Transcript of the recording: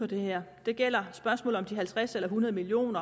det her det gælder spørgsmålet om de halvtreds eller hundrede million